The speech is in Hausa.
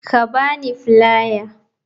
Ka ba ni filiar.